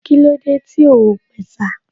Kílódé tí o ò pẹ̀sà?